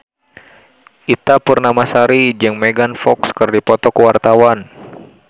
Ita Purnamasari jeung Megan Fox keur dipoto ku wartawan